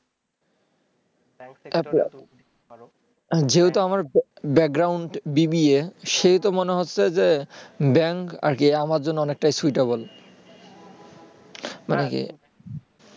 যেহেতু আমার background B. B. A সেহেতু মনে হচ্ছে যে bank আর কি আমার জন্য অনেকটাই suitable মানে কি